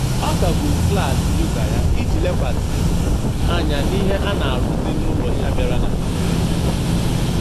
Ọ kagburu klaasị yoga ya iji lekwasị anya n'ihe a na-arụzi n'ụlọ ya bịara na mberede.